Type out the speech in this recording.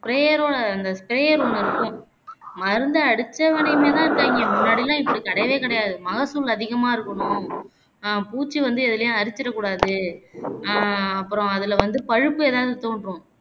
sprayer ஓட அந்த sprayer ஒன்னு இருக்கும் மருந்து அடிச்ச்மனியமாவேதான் இருக்கங்கே முன்னடியெல்லம் இப்படி கிடையவே கிடையாது மகசூழ் அதிகமா இருக்கணும் அஹ் பூச்சி வந்து எதுலையும் அரிச்சிரக்கூடாது ஆஹ் அப்பறம் அதுல வந்து பழுப்பு எதாவது தோன்றும்